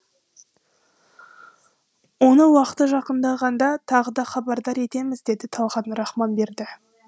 оны уақыты жақындағанда тағы да хабардар етеміз деді талғат рахманберді